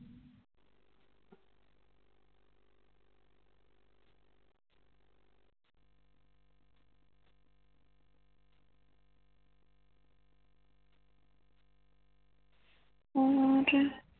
ਔਰ